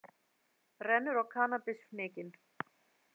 Rennur á kannabisfnykinn.